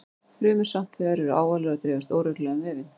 Frumur svampvefjar eru ávalar og dreifast óreglulega um vefinn.